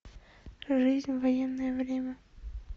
жизнь в военное время